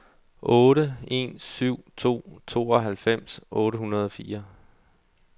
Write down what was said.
otte en syv to tooghalvfems otte hundrede og fire